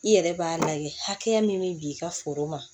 I yɛrɛ b'a lajɛ hakɛya min bɛ bin i ka foro ma